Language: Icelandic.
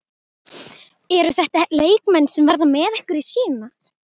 Eru þetta leikmenn sem verða með ykkur í sumar?